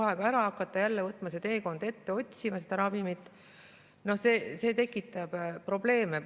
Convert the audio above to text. Hakata kuu aja pärast jälle seda teekonda ette võtma ja otsima seda ravimit – see tekitab probleeme.